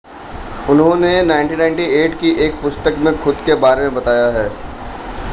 उन्होंने 1998 की एक पुस्तक में खुद के बारे में बताया है